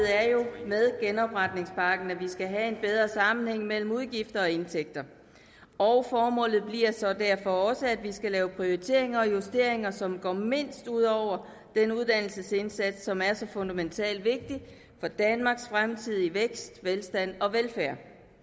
med genopretningspakken at vi skal have en bedre sammenhæng mellem udgifter og indtægter og formålet bliver så derfor også at vi skal lave prioriteringer og justeringer som går mindst muligt ud over den uddannelsesindsats som er så fundamentalt vigtig for danmarks fremtidige vækst velstand og velfærd